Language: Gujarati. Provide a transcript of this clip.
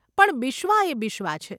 પણ બિશ્વા એ બિશ્વા છે.